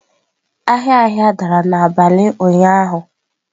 Ahịa ahịa dara n'abalị ụnyaahụ.